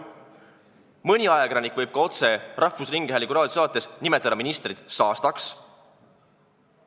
Mõni ajakirjanik võib ka otse rahvusringhäälingu raadiosaates nimetada ministrit saastaks.